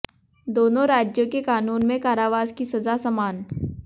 दोनों राज्यों के कानून में कारावास की सजा समान